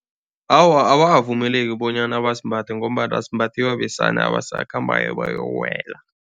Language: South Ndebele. Awa, abakavumeleki bonyana basimbathe ngombana simbathiwa besana abasakhambako bayokuwela.